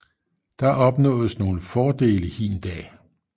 Der opnåedes nogle fordele hin dag